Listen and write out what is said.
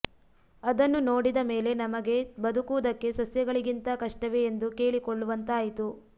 ಅದನ್ನು ನೋಡಿದ ಮೇಲೆ ನಮಗೆ ಬದುಕುವುದಕ್ಕೆ ಸಸ್ಯಗಳಿಗಿಂತ ಕಷ್ಟವೇ ಎಂದು ಕೇಳಿಕೊಳ್ಳುವಂತಾಯಿತು